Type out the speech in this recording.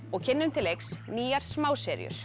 og kynnum til leiks nýjar